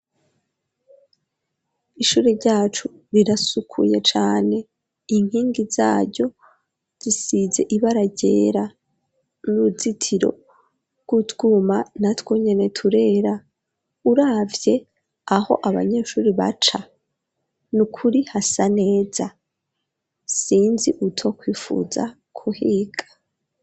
Ishure ryacu rirasukuye cane inkingi zayo zisize ibara ryera n'uzitiro bw'utwuma na twunyene turera uravye aho abanyeshuri baca nukuri hasa neza sinzi uto kwifuza kuhiga.